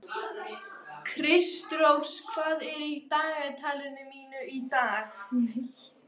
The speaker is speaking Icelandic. Kristrós, hvað er á dagatalinu mínu í dag?